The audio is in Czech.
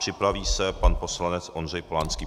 Připraví se pan poslanec Ondřej Polanský.